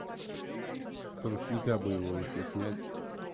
с ручника бы его ещё снять